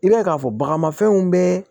I b'a ye k'a fɔ bagamafɛnw bɛɛ